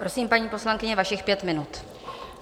Prosím, paní poslankyně, vašich pět minut.